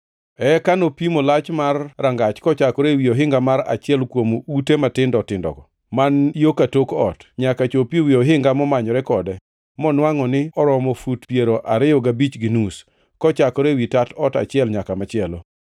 Eka nopimo lach mar rangach kochakore ewi ohinga mar achiel kuom ute matindo tindogo, man yo ka tok ot, nyaka chop ewi ohinga momanyore kode, monwangʼo ni oromo fut piero ariyo gabich gi nus, kochakore ewi tat ot achiel nyaka machielo.